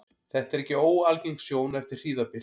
Þetta er ekki óalgeng sjón eftir hríðarbyl.